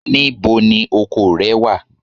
Níbo ni oko rẹ wà?